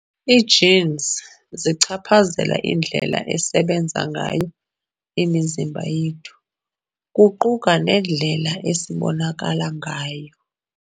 Ii-genes zichaphazela indlela esebenza ngayo imizimba yethu, kuquka nendlela esibonakalo ngayo.